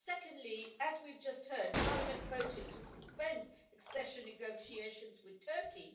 Secondly, as we've just heard, Parliament voted to suspend accession negotiations with Turkey.